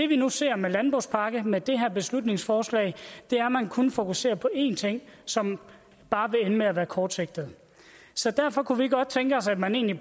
vi nu ser med landbrugspakken og med det her beslutningsforslag er at man kun fokuserer på én ting som bare vil ende med at være kortsigtet så derfor kunne vi godt tænke os at man egentlig